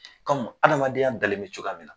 adamadenya dalen bɛ cogoya min na